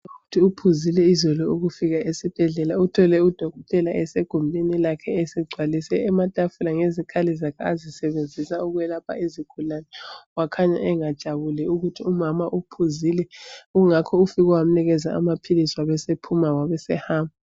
Ubhudi uphuzile izolo ukufika esibhedlela uthole udokotela esegumbini lakhe esegcwalise ematafuleni ngezikhali zakhe azisebenzisa ukwelapha izigulane wakhanya engajabuli ukuthi umama uphuzile kungakho ufike wamnikeza amaphilisi wabesephuma wabesehamba